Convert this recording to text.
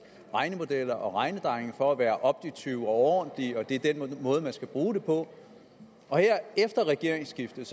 regnemodeller og regnedrenge for at være objektive og ordentlige og at det er den måde man skal bruge det på her efter regeringsskiftet